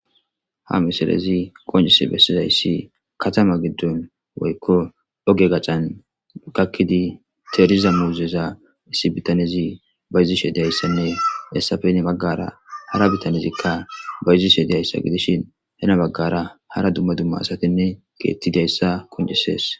Ha misarezi konjese bessizayissi katama giddon woykko oge gaccan ukakkidi teeriza muuzeza issi bitanezi bayzishe deyayssenne hessafeni baggara hara bitanezikka bayzishe deyayssa gidishin hena baggara hara dumma dumma asatinne geettidayssa konjisees.